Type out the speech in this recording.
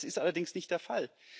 Das ist allerdings nicht der Fall.